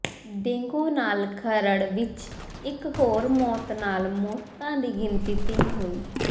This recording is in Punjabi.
ਡੇਂਗੂ ਨਾਲ ਖਰੜ ਵਿੱਚ ਇੱਕ ਹੋਰ ਮੌਤ ਨਾਲ ਮੌਤਾਂ ਦੀ ਗਿਣਤੀ ਤਿੰਨ ਹੋਈ